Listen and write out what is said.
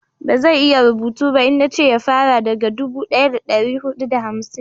ba zai iya rubutu ba in nace ya fara daga dubu daya da dari hudu da hamsin